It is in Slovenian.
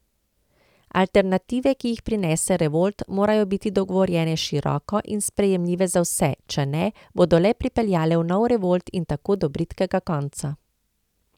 Alternative, ki jih prinese revolt, morajo biti dogovorjene široko in sprejemljive za vse, če ne, bodo le pripeljale v nov revolt in tako do bridkega konca.